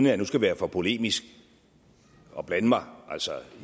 jeg nu skal være for polemisk og blande mig